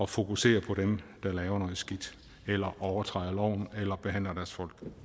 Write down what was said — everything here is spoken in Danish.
fokusere på dem der laver noget skidt eller overtræder loven eller behandler deres folk